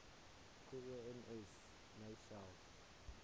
gems nou selfs